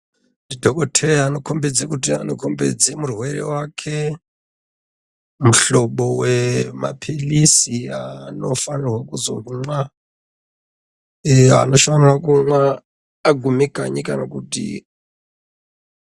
Dhokodheya anokombidza kuti anokombidza murwere wake mihlobo wemapirizi wanofana kuzomwa eya anofana kumwa aguma kanyi kana kuti.